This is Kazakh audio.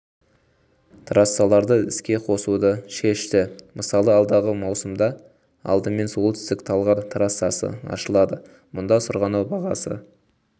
трассаларды іске қосуды шешті мысалы алдағы маусымда алдымен солтүстік талғар трассасы ашылады мұнда сырғанау бағасы